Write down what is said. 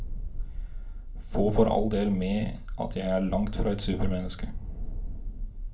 Få for all del med at jeg er langt fra et supermenneske.